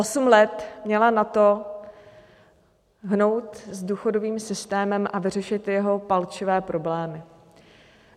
Osm let měla na to hnout s důchodovým systémem a vyřešit jeho palčivé problémy.